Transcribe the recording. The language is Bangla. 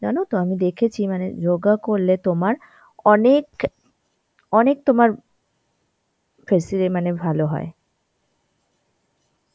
জানো তো? আমি দেখেছি মানে যোগা করলে তোমার অনেক, অনেক তোমার মানে ভালো হয়.